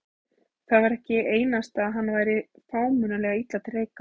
Það var ekki einasta að hann væri frámunalega illa til reika.